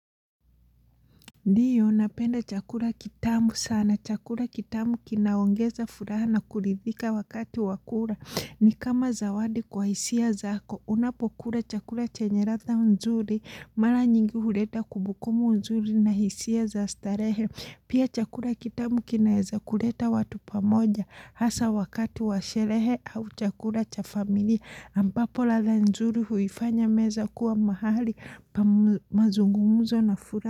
Ndiyo napenda chakura kitamu sana. Chakura kitamu kinaongeza furaha na kuridhika wakati wa kura. Ni kama zawadi kwa hisia zaako. Unapokura chakura chenye ratha nzuri. Mara nyingi hureta kubukumu nzuri na hisia za starehe. Pia chakura kitamu kinaeza kuleta watu pamoja. Hasa wakati wa sherehe au chakura cha familia. Ambapo latha nzuri huifanya meza kuwa mahali pa mazungumuzo na furaha.